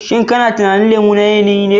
Shin kana tunanin lemo na yanayi ne?